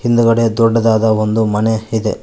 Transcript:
ಹಿಂದಗಡೆ ದೊಡ್ಡದಾದ ಒಂದು ಮನೆ ಇದೆ.